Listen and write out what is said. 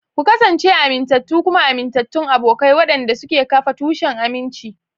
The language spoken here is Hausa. Ku kasance amintattu kuma amintattun abokai waɗanda suke kafa tushen aminci.